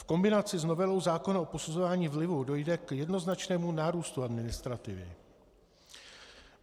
V kombinaci s novelou zákona o posuzování vlivu dojde k jednoznačnému nárůstu administrativy.